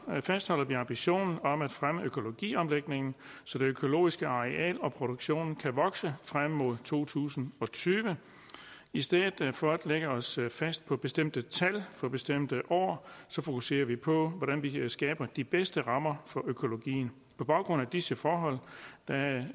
fastholder vi ambitionen om at fremme økologiomlægningen så det økologiske areal og produktionen kan vokse frem mod to tusind og tyve i stedet for at lægge os fast på bestemte tal for bestemte år fokuserer vi på hvordan man kan skabe de bedste rammer for økologien på baggrund af disse forhold